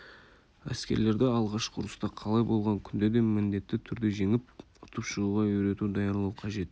әскерлерді алғашқы ұрыста қалай болған күнде де міндетті түрде жеңіп ұтып шығуға үйрету даярлау қажет